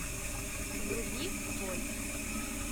вруби боль